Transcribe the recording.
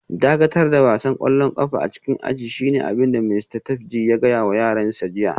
Dakatar da wasan kwallon kafa a cikin ajin shine abin da Mista Tapji ya gaya wa yaransa jiya